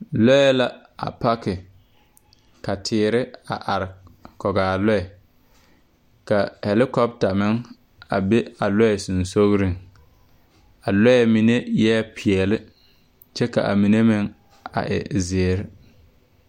Lɔɛ la a lake ka teere a are kɔg aa lɔɛ ka hɛlikɔpta meŋ a be a lɔɛ seŋsugliŋ a lɔɛ mine eɛɛ peɛɛli kyɛ ka a mine meŋ a e zeere.